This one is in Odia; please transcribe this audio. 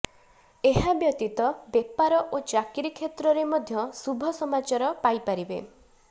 ଏହାବ୍ୟତୀତ ବେପାର ଓ ଚାକିରି କ୍ଷେତ୍ରରେ ମଧ୍ୟ ଶୁଭ ସମାଚାର ପାଇପାରିବେ